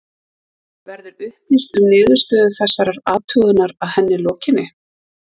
Verður upplýst um niðurstöðu þessarar athugunar að henni lokinni?